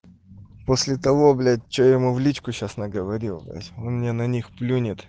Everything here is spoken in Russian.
после того блять что ему в личку сейчас наговорил блядь он мне на них плюнет